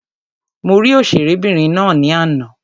Mo rí òṣèré obìnrin ná ní àná.